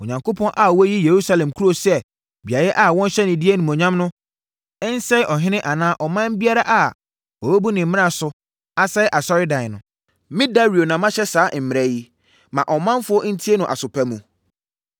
Onyankopɔn a wayi Yerusalem kuro sɛ beaeɛ a wɔnhyɛ ne din animuonyam no nsɛe ɔhene anaa ɔman biara a wɔbɛbu ne mmara so asɛe asɔredan no. Me Dario na mahyɛ saa mmara yi. Ma ɔmanfoɔ ntie no aso pa mu.